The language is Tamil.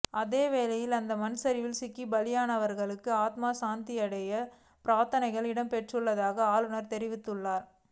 அதேவேளை இந்த மண் சரிவில் சிக்கி பலியானவர்களுக்காக ஆத்ம சாந்திப் பிரார்த்தனை இடம்பெறவுள்ளதாகவும் ஆளுநர் தெரிவித்துள்ளார்